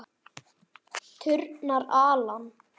Turnar, Alan.